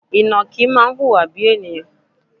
Ìnàkí máa ń wùwà bíi ènìyàn.